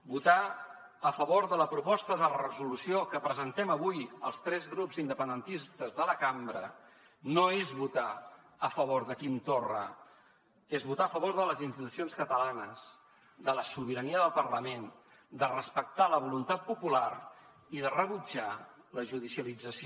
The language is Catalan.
votar a favor de la proposta de resolució que presentem avui els tres grups independentistes de la cambra no és votar a favor de quim torra és votar a favor de les institucions catalanes de la sobirania del parlament de respectar la voluntat popular i de rebutjar la judicialització